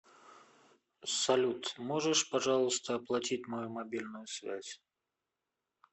салют можешь пожалуйста оплатить мою мобильную связь